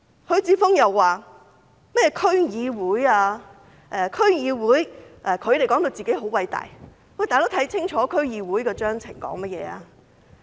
許智峯議員又談及區議會，他們說到自己很偉大，看清楚區議會的章程吧。